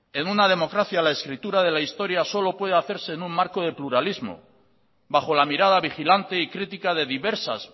en una democracia la escritura de la historia solo puede hacerse en un marco de pluralismo bajo la mirada vigilante y crítica de diversas